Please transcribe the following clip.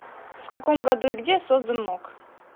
в каком году и где создан мок